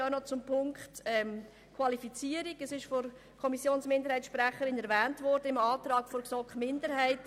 In Absatz 1 des Antrags der GSoK-Minderheit wird Qualifizierung als Anforderung aufgeführt.